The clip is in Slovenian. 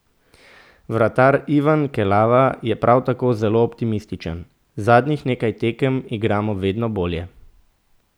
Vratar Ivan Kelava je prav tako zelo optimističen: "Zadnjih nekaj tekem igramo vedno bolje.